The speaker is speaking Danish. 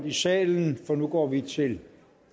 i salen for nu går vi til